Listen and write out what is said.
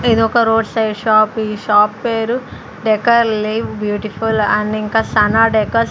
ఇదొక road side shop ఈ shop పేరు డెకర్లేవ్ బ్యూటిఫుల్ అండ్ ఇంకా సన డెకర్స్ --